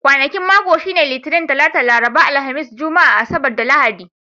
Kwanakin mako sune Litinin, Talata, Laraba, Alhamis, Juma'a, Asabar, da Lahadi.